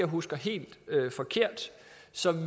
husker helt forkert